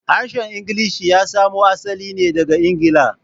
Harshen Ingilishi ya samo asali ne daga Ingila.